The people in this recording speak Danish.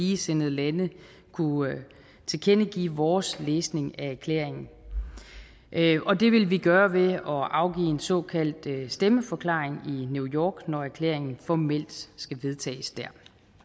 ligesindede lande kunne tilkendegive vores læsning af erklæringen og det vil vi gøre ved at afgive en såkaldt stemmeforklaring i new york når erklæringen formelt skal vedtages der